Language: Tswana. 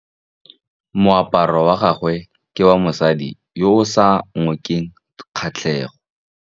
Moaparô wa gagwe ke wa mosadi yo o sa ngôkeng kgatlhegô.